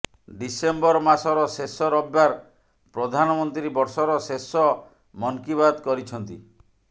December ମାସର ଶେଷ ରବିବାର ପ୍ରଧାନମନ୍ତ୍ରୀ ବର୍ଷର ଶେଷ ମନକୀ ବାତ୍ କରିଛନ୍ତି